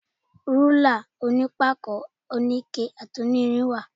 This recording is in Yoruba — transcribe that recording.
Rúlà onípákó, oníke àti onírin wà.